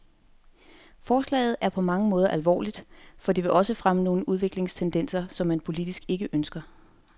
Forslaget er på mange måder alvorligt, for det vil også fremme nogle udviklingstendenser, som man politisk ikke ønsker.